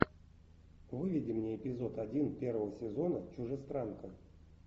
выведи мне эпизод один первого сезона чужестранка